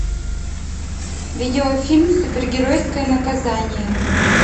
видеофильм супергеройское наказание